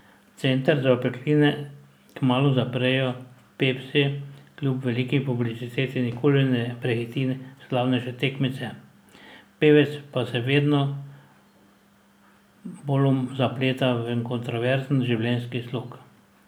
Center za opekline kmalu zaprejo, Pepsi kljub veliki publiciteti nikoli ne prehiti slavnejše tekmice, pevec pa se vedno bolj zapleta v kontroverzen življenjski slog.